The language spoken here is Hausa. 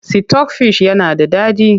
Sitok fish yana da daɗi.